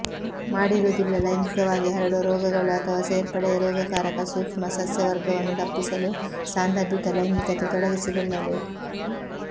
ಮಾಡಿರುವುದಿಲ್ಲ ಲೈಂಗಿಕವಾಗಿ ಹರಡುವ ರೋಗಗಳು ಅಥವಾ ಸೇರ್ಪಡೆಯ ರೋಗಕಾರಕ ಸೂಕ್ಷ್ಮಸಸ್ಯವರ್ಗವನ್ನು ತಪ್ಪಿಸಲು ಸಾಂದರ್ಭಿಕ ಲೈಂಗಿಕತೆ ತೊಡಗಿಸಿಕೊಳ್ಳಲು